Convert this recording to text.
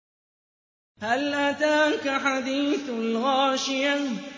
هَلْ أَتَاكَ حَدِيثُ الْغَاشِيَةِ